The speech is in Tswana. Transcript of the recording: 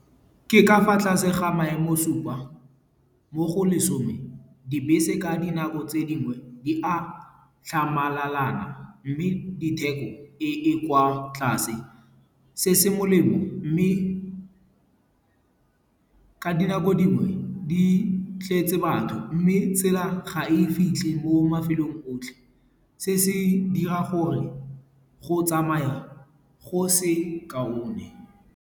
Ke ka fa tlase ga maemo supa mo go lesome, dibese ka dinako tse dingwe, di a tlhamalalana. Mme ditheko di kwa tlase. Se se molemo mme ka dinako dingwe di tletse batho mme tsela ga e fitlhe mo mafelong otlhe. Se se dira gore go tsamaya go se kaone.